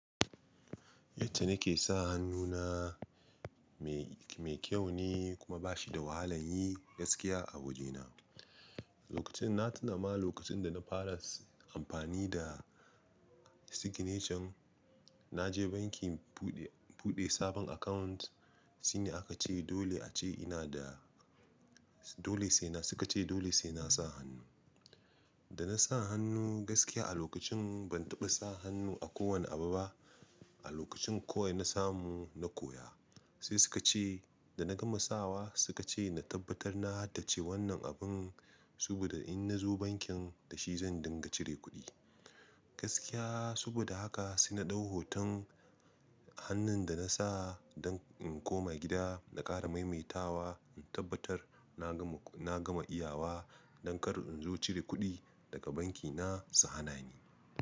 Yace nake sa hannu na mai, mai kyau ne kuma ba shi da wahalan yi gaskiya a wajena. Lokacin na tunama lokacin da na fara amfani da signature, na je banki buɗe, buɗe sabon account. Sune aka ce dole a ce ina da, dole sai na, suka ce dole sai na sa hannu. Da na sa hannu gaskiya a lokacin ban taɓa sa hannu a kowane abu ba. A lokacin kuwa na samu na koya. Sai suka ce da na gama sawa suka ce na tabbatar na haddace wannan abin saboda in na zo bankin da shi zan dinga cire kuɗi. Gaskiya saboda haka sai na ɗau hoton hannun da na sa don in koma gida na ƙara maimaitawa, in tabbatar na gama, na gama iyawa don kar in zo cire kuɗi daga banki na su hana ni.